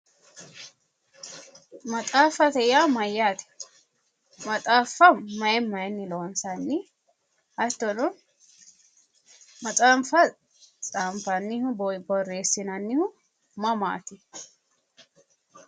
Maxaaffate yaa mayyaate? maxaaffa mayi mayiinni loonsanni? hattono maxaaffa xaanfannihu borreessinannihu mamaati?